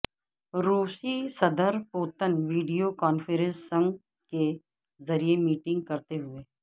روسی صدر Putin video conferencing کے ذریعے میٹنگ کرتے ہوئے